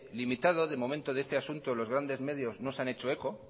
limitado de momento de este asunto los grandes medios no se han hecho eco